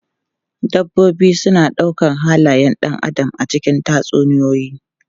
Dabbobi suna ɗaukar halayen ɗan adam a cikin tatsuniyoyi.